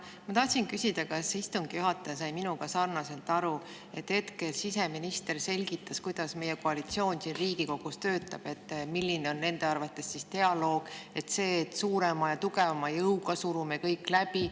Ma tahtsin küsida, kas istungi juhataja sai minuga sarnaselt aru, et hetkel siseminister selgitas, kuidas meie koalitsioon siin Riigikogus töötab ja milline on nende arvates dialoog – see, et suurema ja tugevama jõuga surume kõik läbi.